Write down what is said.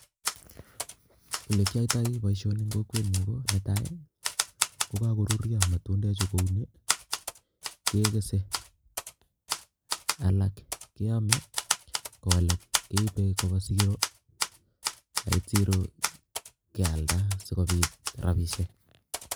Olee kiato boisioni eng kokwet Yu ko nee tai kokakorurio matunde chuu kouni kee kese alak keame ko alaak keibe Kobo Siro ndait Siro kealda si kobit rabishek